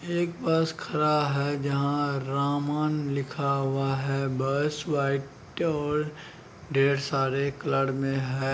एक बस खड़ा है जहाँ रमन लिखा हुआ है। बस व्हाइट और ढ़ेर सारे कलर में है।